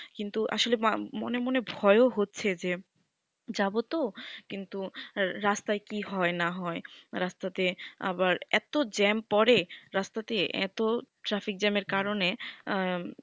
কিন্তু আসলে মনে মনে ভয়ও হচ্ছে যে যাবোতো কিন্তু রাস্তায় কি হয় না হয় রাস্তাতে আবার এত জ্যাম পরে রাস্তাতে এত সেই জ্যাম আর কারণ এ